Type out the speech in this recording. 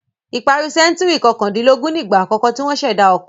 Ìparí sẹ́ńtúrì kọkàndínlógún nígbà àkọ́kọ́ tí wọ́n ṣẹ̀dá ọkọ.